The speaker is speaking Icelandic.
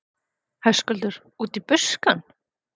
Höskuldur: Út í buskann?